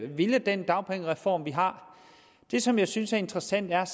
ville den dagpengereform vi har det som jeg synes er interessant er